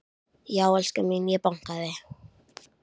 Já en elskan mín. ég bankaði!